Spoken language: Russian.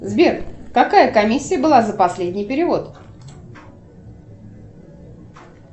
сбер какая комиссия была за последний перевод